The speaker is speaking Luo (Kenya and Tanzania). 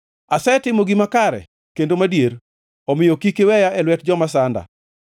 asetimo gima kare kendo madier, omiyo kik iweya e lwet joma sanda.